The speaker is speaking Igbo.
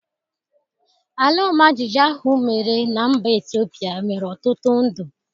Alaọmajịjịjị ahụ mere na mba Ethiopia nwere ọtụtụ ndụ.